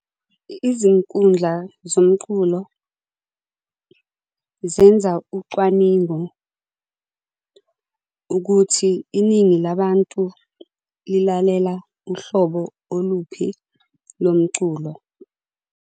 Izinkundla zomculo zenza ucwaningo ukuthi iningi labantu lilalela uhlobo oluphi lomculo.